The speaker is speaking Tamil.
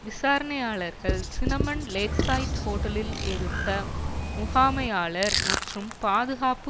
விசாரணையாளர்கள் சினமன் லேக்சைட் ஹோட்டலில் இருத்த முகாமையாளர் மற்றும் பாதுகாப்பு